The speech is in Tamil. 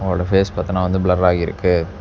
அவளோட ஃபேஸ் பாத்தீனா வந்து ப்ளர்ராயிருக்கு .